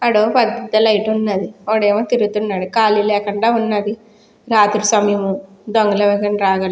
ఆ డోర్ పక్కనే లైట్ ఉండాది. ఒకదేమో తిరుగుతున్నాడు. ఖాళీ లేకుండా ఉన్నది. రాత్రి సమయము దొంగలు ఎవరైనా రాగలరు.